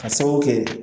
Ka sababu kɛ